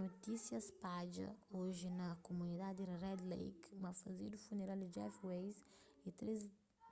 notísia spadja oji na kumunidadi di red lake ma fazedu funeral di jeff weise y